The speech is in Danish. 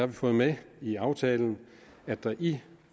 vi fået med i aftalen at der i